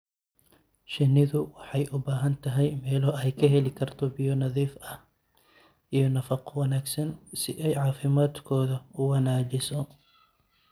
Shinnidu waxay u baahan tahay meelo ay ka heli karto biyo nadiif ah iyo nafaqo wanaagsan si ay caafimaadkooda u wanaajiso.